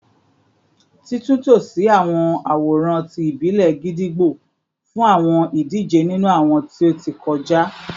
Titunto si awọn aworan ti ibile gídígbò fun awọn idije ninu awọn ti o ti kọja